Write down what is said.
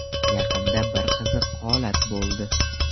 Yaqinda bir qiziq holat bo‘ldi.